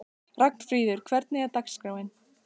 Ragnfríður, hvernig er dagskráin?